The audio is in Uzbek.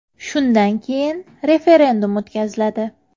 Shundan keyin referendum o‘tkaziladi.